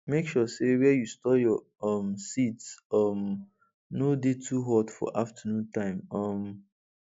make sure say where you store your um seeds um no dey too hot for afternoon time um